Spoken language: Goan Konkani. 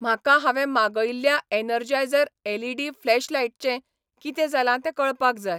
म्हाका हांवें मागयिल्ल्या एनर्जायझर एलईडी फ्लॅशलायटचें कितें जालां तें कळपाक जाय